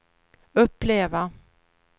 uppleva